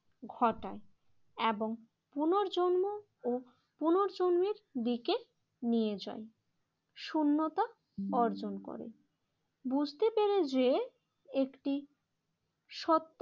ঘটায় এবং পুনর্জন্ম ও পুনর্জন্মের দিকে নিয়ে যায়। শূন্যতা অর্জন করে বুঝতে পেরে যে একটি সৎ